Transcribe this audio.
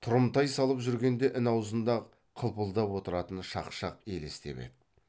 тұрымтай салып жүргенде ін аузында қылпылдап отыратын шақшақ елестеп еді